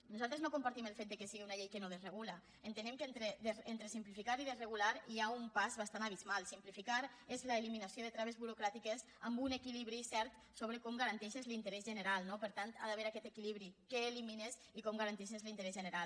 nosaltres no compartim el fet que sigui una llei que no desregula entenem que entre simplificar i desre·gular hi ha un pas bastant abismal simplificar és l’eli·minació de traves burocràtiques amb un equilibri cert sobre com garanteixes l’interès general no per tant hi ha d’haver aquest equilibri què elimines i com ga·ranteixes l’interès general